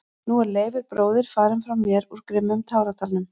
Og nú er Leifur bróðir farinn frá mér úr grimmum táradalnum.